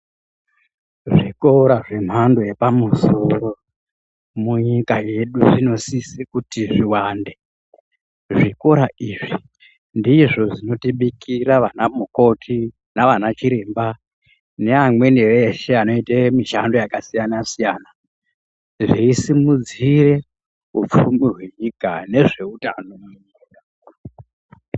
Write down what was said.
Zvikora zvemhando yepamusoro munyika yedu zvinosise kuti zviwande. Zvikora izvi ndizvo zvinotibikira vanamukoti, navanachiremba neamweni eshe anoite mishando yakasiyana siyana, zveisimudzire upfumi hwenyika nezveutano.